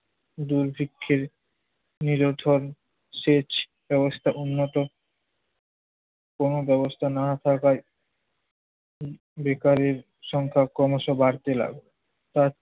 দুর্ভিক্ষের নিরন্তর সেচ ব্যবস্থা উন্নত কোন ব্যবস্থা না থাকায় উম বেকারের সংখ্যা ক্রমশ বাড়তে লাগল। আর